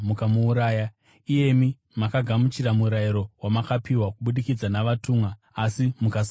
iyemi makagamuchira murayiro wamakapiwa kubudikidza navatumwa, asi mukasauteerera.”